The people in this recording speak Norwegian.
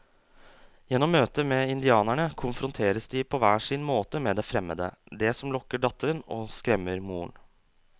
Gjennom møtet med indianerne konfronteres de på hver sin måte med det fremmede, det som lokker datteren og skremmer moren.